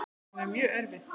Hún er mjög erfið.